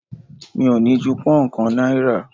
Mi ò ní ju pón kàn náírà.